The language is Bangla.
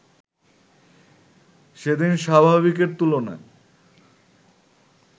সেদিন স্বাভাবিকের তুলনায়